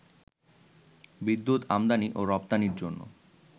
বিদ্যুৎ আমদানি ও রপ্তানির জন্য